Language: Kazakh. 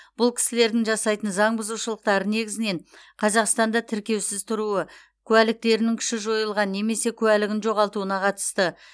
бұл кісілердің жасайтын заң бұзушылықтары негізінен қазақстанда тіркеусіз тұруы куәліктерінің күші жойылған немесе куәлігін жоғалтуына қатысты